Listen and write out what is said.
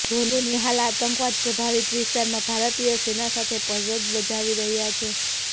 ધોની હાલ આતંકવાદ પ્રભાવિત વિસ્તારમાં ભારતીય સેના સાથે ફરજ બજાવી રહ્યાં છે